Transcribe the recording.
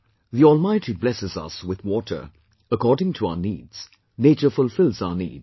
The Almighty blesses us with water according to our needs, nature fulfils our needs